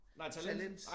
Talent